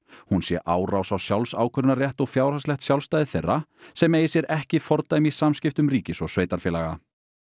hún sé árás á sjálfsákvörðunarrétt og fjárhagslegt sjálfstæði þeirra sem eigi sér ekki fordæmi í samskiptum ríkis og sveitarfélaga